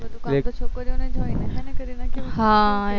કામ તો છોકરીઓ ને જ હોય હ ને કરીના કેવું